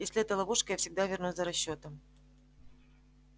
если это ловушка я всегда вернусь за расчётом